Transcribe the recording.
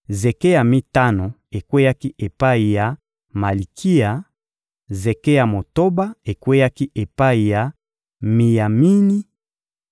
zeke ya mitano ekweyaki epai ya Malikiya; zeke ya motoba ekweyaki epai ya Miyamini;